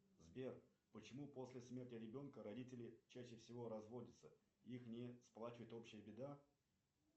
сбер почему после смерти ребенка родители чаще всего разводятся их не сплачивает общая беда